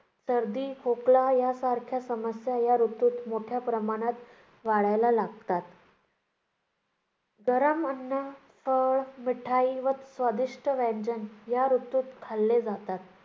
सर्दी खोकला या सारख्या समस्या या ऋतूत मोठ्या प्रमाणात वाढायला लागतात. गरम अन्न, फळ, मिठाई व स्वादिष्ट व्यंजन या ऋतूत खाल्ले जातात.